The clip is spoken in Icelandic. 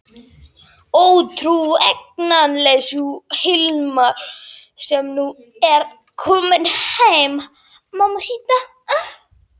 Óútreiknanleg sú Lena sem nú er komin heim.